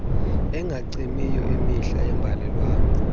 engacimiyo imihla yeembalelwano